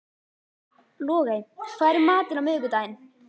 Logey, hvað er í matinn á miðvikudaginn?